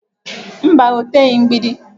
Mba, o teghị mgbidi